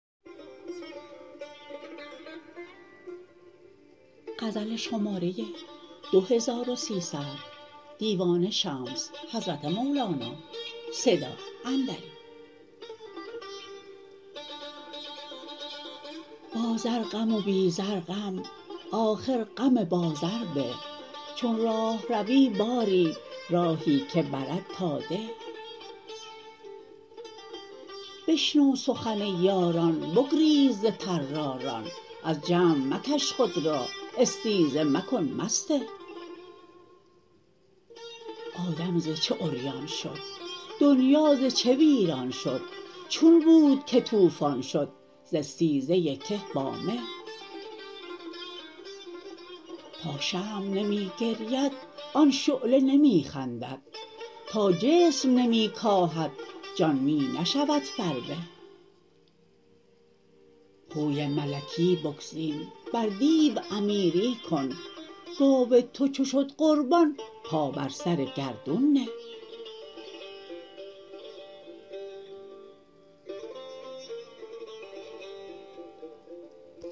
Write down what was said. با زر غم و بی زر غم آخر غم با زر به چون راهروی باری راهی که برد تا ده بشنو سخن یاران بگریز ز طراران از جمع مکش خود را استیزه مکن مسته آدم ز چه عریان شد دنیا ز چه ویران شد چون بود که طوفان شد ز استیزه که با مه تا شمع نمی گرید آن شعله نمی خندد تا جسم نمی کاهد جان می نشود فربه خوی ملکی بگزین بر دیو امیری کن گاو تو چو شد قربان پا بر سر گردون نه